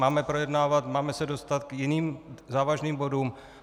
Máme projednávat, máme se dostat k jiným závažným bodům.